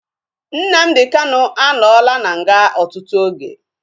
Nnamdi Kanu anọla na nga ọtụtụ oge